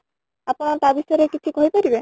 ଆପଣ ତା ବିଷୟ ରେ କିଛି କହି ପାରିବେ?